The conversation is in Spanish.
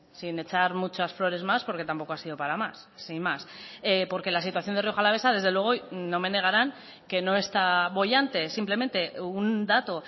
sin echar muchas flores más porque tampoco ha sido para más sin más porque la situación de rioja alavesa desde luego no me negarán que no está boyante simplemente un dato